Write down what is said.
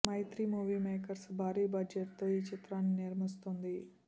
మైత్రి movie makers భారీ budget తో ఈ చిత్రాన్ని నిర్మిస్తోంది